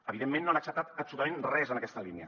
evidentment no han acceptat absolutament res en aquesta línia